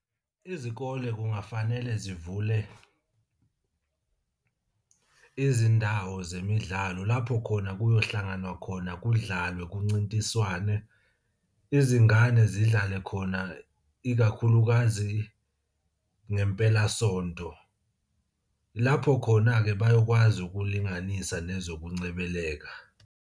Izikole kungafanele zivule izindawo zemidlalo lapho khona kuyohlanganwa khona kudlalwe kuncintiswane, izingane zidlale khona ikakhulukazi ngempelasonto. Lapho khona-ke bayokwazi ukulinganisa nezokungcebeleka.